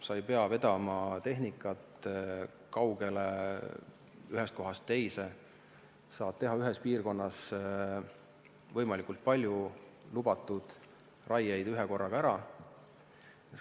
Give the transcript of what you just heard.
Sa ei pea vedama tehnikat kaugele, ühest kohast teise, vaid saad ühes piirkonnas võimalikult palju lubatud raiet korraga ära teha.